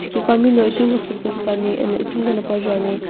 kukami na itimiqo sasü putsa ani eno itimqono paju ani.